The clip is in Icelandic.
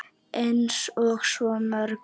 Eins og svo mörgu.